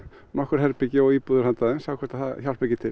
nokkur herbergi og íbúðir handa þeim og sjá hvort það hjálpar ekki til